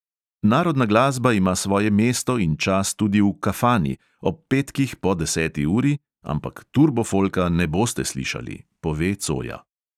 "Narodna glasba ima svoje mesto in čas tudi v kafani, ob petkih po deseti uri, ampak turbofolka ne boste slišali," pove coja.